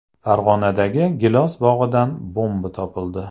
Farg‘onadagi gilos bog‘idan bomba topildi.